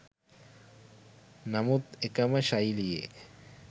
නමුත් එකම ශෛලියේ